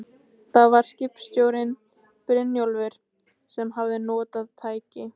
Eldsumbrota gætti mikið á kola- og perm-tímabilunum.